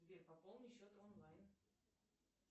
сбер пополни счет онлайн